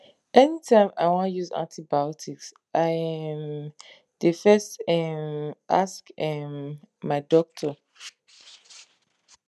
anytime i wan use antibiotics i um dey first um ask um my doctor